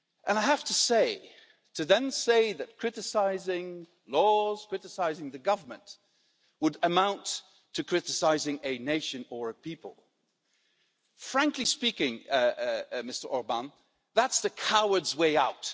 I have to say to then say that criticising laws and criticising the Government would amount to criticising a nation or a people, frankly speaking, Mr Orbán, that's the coward's way out.